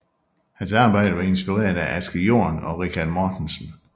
Hans arbejder var inspireret af Asger Jorn og Richard Mortensen